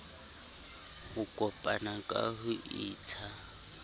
ho kopana ka ho intsha